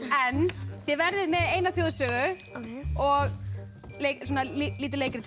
en þið verðið með eina þjóðsögu og lítið leikrit